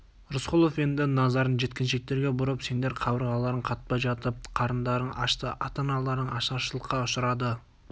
рысқұлов енді назарын жеткіншектерге бұрып сендер қабырғаларың қатпай жатып қарындарың ашты ата-аналарың ашаршылыққа ұшырады